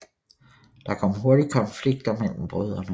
Der kom hurtigt konflikter mellem brødrene